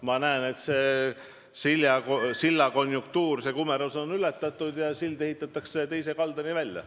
Ma näen, et see silla kumerus on ületatud ja sild ehitatakse teise kaldani välja.